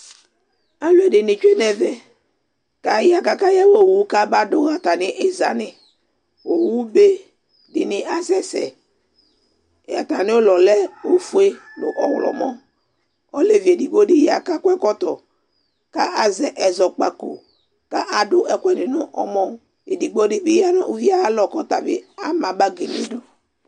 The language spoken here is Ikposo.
Alʋɛdìní tsʋe nʋ ɛvɛ kʋ aya kʋ akayawa owu kama du ha atami iza ni Owu be dìní asɛsɛ atami ʋlɔ yɛ lɛ ɔfʋe nʋ ɔwlɔmɔ Ɔlevi ɛdigbo di ya kʋ akɔ ɛkɔtɔ kʋ azɛ ɛzɔkpako kʋ adu ɛkʋɛdi nʋ ɔmɔ Ɛdigbo di bi ya nʋ ʋvi ye alɔ kʋ ɔtabi ama bagi nʋ idu